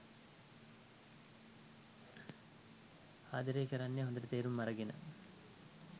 ආදරය කරන්නේ හොඳට තේරුම් අරගෙන.